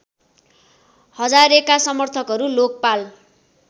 हजारेका समर्थकहरू लोकपाल